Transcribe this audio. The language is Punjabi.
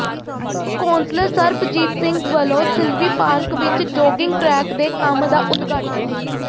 ਕੌਂਸਲਰ ਸਰਬਜੀਤ ਸਿੰਘ ਵੱਲੋਂ ਸਿਲਵੀ ਪਾਰਕ ਵਿੱਚ ਜੌਗਿੰਗ ਟਰੈਕ ਦੇ ਕੰਮ ਦਾ ਉਦਘਾਟਨ